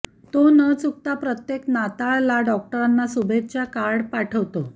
तो न चुकता प्रत्येक नाताळला डॉक्टरांना शुभेच्छा कार्ड पाठवतो